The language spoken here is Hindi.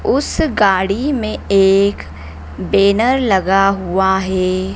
उस गाड़ी में एक बेनर लगा हुआ है।